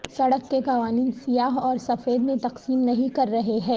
سڑک کے قوانین سیاہ اور سفید میں تقسیم نہیں کر رہے ہیں